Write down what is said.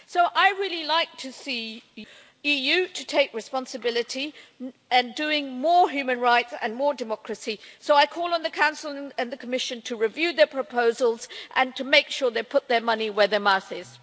I'd really like to see the EU taking responsibility and doing more human rights and more democracy, so I call on the Council and the Commission to review their proposals and to make sure they put their money where their mouth is.